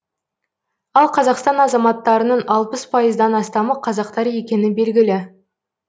ал қазақстан азаматтарының алпыс пайыздан астамы қазақтар екені белгілі